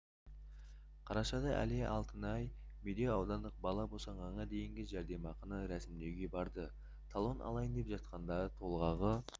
қарашада әлия алтыняй медеу аудандық бала босанғанға дейінгі жәрдемақыны рәсімдеуге барды талон алайын деп жатқанда толғағы